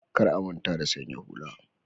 Kar a manta da sanya hula